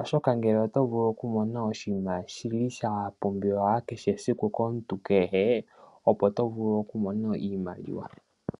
oshaka ngele oto vulu okumona oshima shili sha pumbiwa kehesiku komuntu kehe opo to vulu okumona iimaliwa .